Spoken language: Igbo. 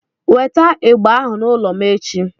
Weta igba ahu n'ụlọ m echi!